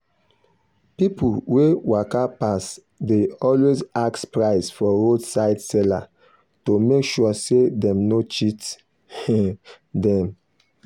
people wey waka pass dey always ask price for roadside seller to make sure say dem no cheat um them.